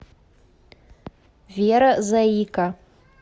вера заика